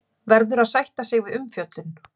Verður að sætta sig við umfjöllun